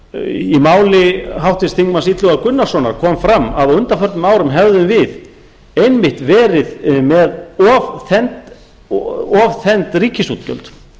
í mál háttvirts þingmanns illuga gunnarssonar kom fram að á undanförnum árum hefðum við einmitt verið með ofþennd ríkisútgjöld